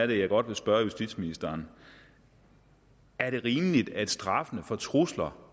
vil jeg godt spørge justitsministeren er det rimeligt at straffen for trusler